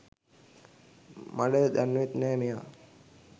මඩ දන්නෙවත් නෑ මෙයා.